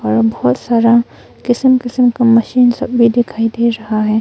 और बहुत सारा किसम किसम का मशीन सब भी दिखाई दे रहा है।